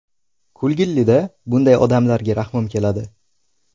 Kulgilida, bunday odamlarga rahmim keladi.